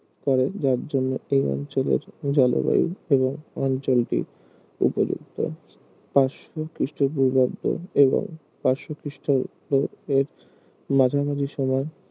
করে যার জন্য এই অঞ্চলের জলবায়ু এবং অঞ্চলটি উপযুক্ত পাঁচশো খ্রিস্ট পূর্বাব্দ এবং পাঁচশো খ্রিস্ট পূর্ব এর মাঝামাঝি সময়ে